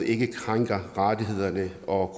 ikke krænker rettighederne og